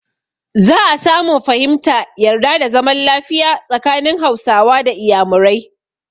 Za a samun fahimta, yarda da zaman lafiya tsakanin Hausawa da Iyamurai.